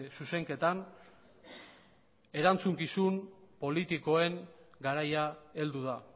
zuzenketan erantzukizun politikoen garaia heldu da